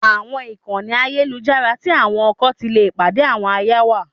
Àwọn ìkànnì ayélujára tí àwọn ọkọ ti le pàdé àwọn aya wà.